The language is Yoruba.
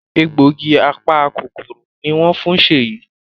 Egbògi apa-kòkòrò ní wón fún Sheyi.